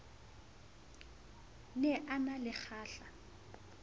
ne a na le kgahla